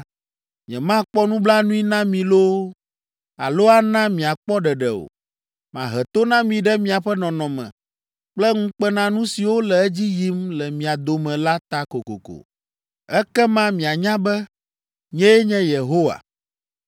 Nyemakpɔ nublanui na mi loo alo ana miakpɔ ɖeɖe o. Mahe to na mi ɖe miaƒe nɔnɔme kple ŋukpenanu siwo le edzi yim le mia dome la ta kokoko. “ ‘Ekema mianya be, nyee nye Yehowa.’